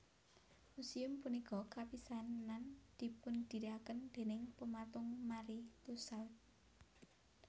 Museum punika kapisanan dipundirikaken déning pematung Marie Tussaud